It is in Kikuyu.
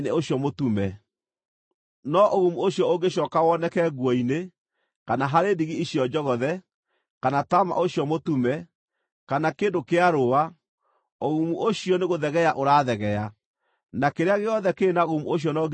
No ũgumu ũcio ũngĩcooka woneke nguo-inĩ, kana harĩ ndigi icio njogothe, kana taama ũcio mũtume, kana kĩndũ kĩa rũũa, ũgumu ũcio nĩgũthegea ũrathegea, na kĩrĩa gĩothe kĩrĩ na ũgumu ũcio no nginya gĩcinwo na mwaki.